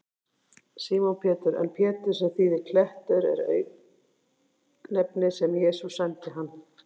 Símon Pétur, en Pétur, sem þýðir klettur, er auknefni sem Jesús sæmdi hann.